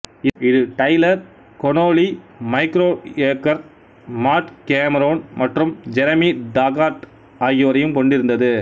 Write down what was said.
இது Tyler Connolly Mike Kroeger Matt Cameron மற்றும் Jeremy Taggart ஆகியோரையும் கொண்டிருந்தது